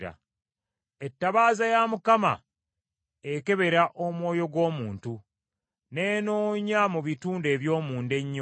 Ettabaaza ya Mukama ekebera omwoyo gw’omuntu, n’enoonya mu bitundu eby’omunda ennyo.